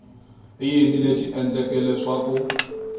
i yini lexi endleke leswaku